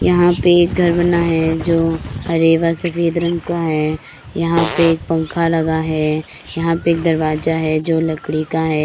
यहाँ पे एक घर बना है जो हरे व सफेद रंग का है यहाँ पे एक पंखा लगा है यहाँ पे एक दरवाजा है जो लकड़ी का है।